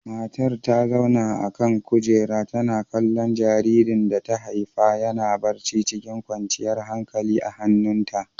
Matar ta zauna a kan kujera, tana kallon jaririn da ta haifa yana barci cikin kwanciyar hankalia a hannunta.